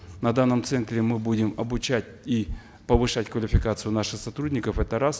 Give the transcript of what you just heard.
на данном центре мы будем обучать и повышать квалификацию наших сотрудников это раз